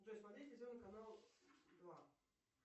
джой смотреть телевизионный канал два